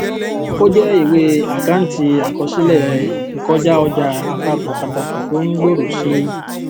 ó jẹ ìwé àkáǹtì àkọsílẹ ìkọjáọjà àpapọ pàtàkì tó ń gbòòrò sí i